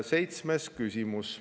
Seitsmes küsimus.